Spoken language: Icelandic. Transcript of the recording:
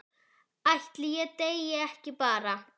Ætli ég deyi ekki bara?